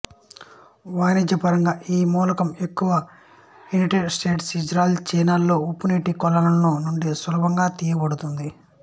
వాణిజ్యపరంగా ఈ మూలకం ఎక్కువగా యునైటెడ్ స్టేట్స్ ఇజ్రాయెల్ చైనాలలోని ఉప్పునీటి కొలనుల నుండి సులభంగా తీయబడుతుంది